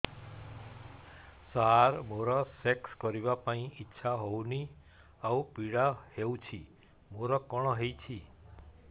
ସାର ମୋର ସେକ୍ସ କରିବା ପାଇଁ ଇଚ୍ଛା ହଉନି ଆଉ ପୀଡା ହଉଚି ମୋର କଣ ହେଇଛି